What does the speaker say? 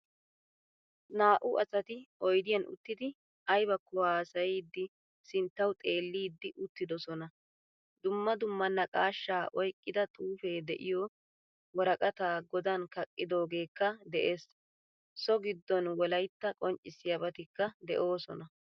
Naa"u asati oydiyan uttidi aybako haasayidi sinttawu xeellidi uttidosona. Dumma dumma naaqashsha oyqqida xuufe deiyo woraqata godan kaqqidogeekka de'ees. So giddon wolaytta qonccissiyabatikka de'osona.